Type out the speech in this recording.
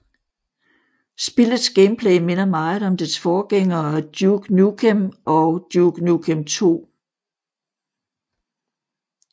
Spillets gameplay minder meget om dets forgængere Duke Nukem og Duke Nukem II